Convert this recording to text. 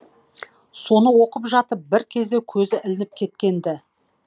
соны оқып жатып бір кезде көзі ілініп кеткен ді